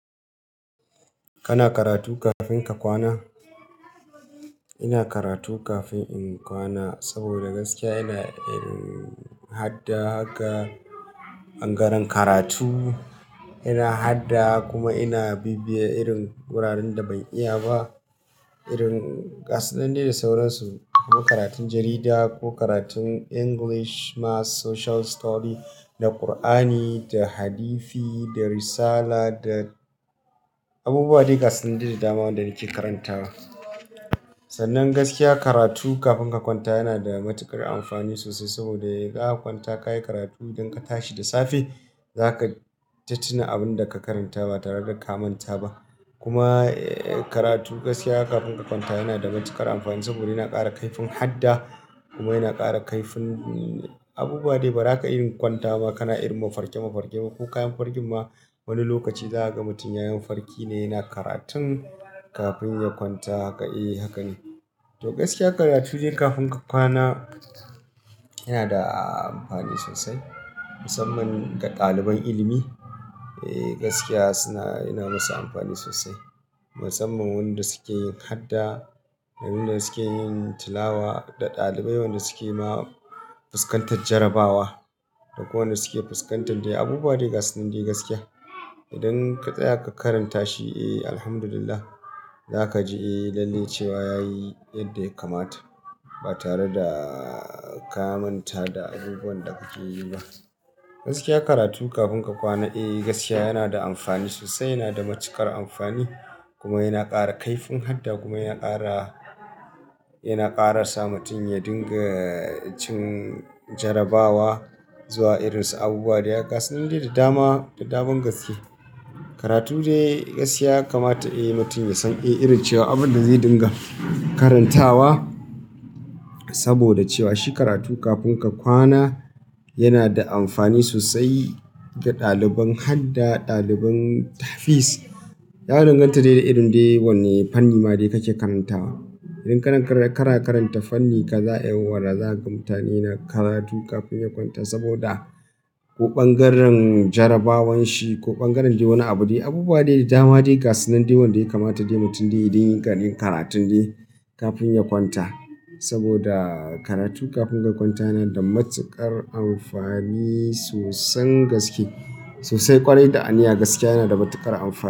Kana karatu kafin ka kwana? Ina karatu kafin in kwana saboda gaskiya ina irin hadda haka ɓangaren karatu, ina hadda kuma ina bibiye irin wuraren da ban iya ba. Irin gasu na dai da sauransu, kuma karatun jarida ko karatun English maths social study da Kur'ani da Hadithi da Risala da abubuwa dai gasu nan dai da dama wanda nake karantawa. Sannan gaskiya karatu kafin ka kwanta yana da matuƙar amfani sosai saboda idan aka kwanta kayi karatu idan ka tashi da safe, za ka tai ta abin da ka karanta ba tare da ka manta ba. Kuma karatu gaskiya kafin ka kwanta yana da matuƙar amfani saboda yana ƙara kaifin hada kuma yana ƙara kaifin abubuwa dai ba za ka iya kwanta ba. Kana irin mafarke mafarke ma ko kayan fargin ma wani lokaci za a ga mutum yayi mafarki ne yana karatun kafin ya kwanta. Haka e haka ne. To gaskiya karatu dai kafin ka kwana yana da amfani sosai musamman ga ɗaliban ilimi. E gaskiya suna yana musu amfani sosai musamman wanda suke yin hadda da wanda suke yin tilawa da ɗalibai wanda suke ma fuskantar jarabawa da ko wanda suke fuskantar dai abubuwa dai gasu nan dai gaskiya. Idan ka tsaya ka karanta shi, eh Alhamdulillah za ka ji e lalle cewa ya yi yadda ya kamata ba tare da ka manta da abubuwan da kake yi ba. Gaskiya karatu kafin ka kwana e gaskiya yana da amfani sosai, yana da matuƙar amfani kuma yana ƙara kaifin hada kuma yana ƙara, yana ƙarasa mutum ya dinga cin jarabawa zuwa irinsu abubuwa dai gasu na daj da dama da daman gaske. Karatu dai gaskiya kamata e mutum ya san e irin cewa abin da zai dinga karantawa saboda cewa shi karatu kafin ka kwana yana da amfani sosai ga ɗaliban hadda, ɗaliban tahfis. Ya danganta dai da irin dai wanne fanni ma dai kake karantawa. Idan kana karanta fannin kaza, e wara za ka manta ne na karatu kafin ya kwanta saboda ko ɓangaren jarabawan shi ko ɓangaren wani abu dai abubuwa dai da dama dai gasu nan dai dama wanda ya kamata dai mutum dai ya dinga yin karatun dai kafin ya kwanta. Saboda karatu kafin ka kwanta yana da matuƙar amfani soson gaske sosai ƙwarai da aniya gaskiya yana da matuƙar amfani.